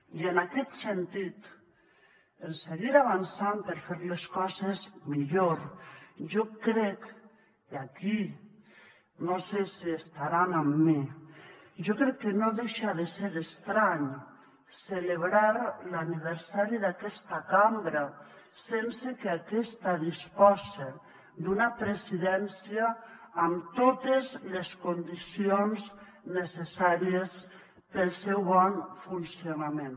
i en aquest sentit en seguir avançant per fer les coses millor jo crec i aquí no sé si estaran amb mi que no deixa de ser estrany celebrar l’aniversari d’aquesta cambra sense que aquesta dispose d’una presidència amb totes les condicions necessàries per al seu bon funcionament